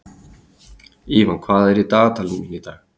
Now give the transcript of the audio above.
Ívan, hvað er í dagatalinu mínu í dag?